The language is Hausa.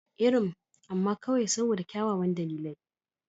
Irin, amma kawai saboda kyawawan dalilai.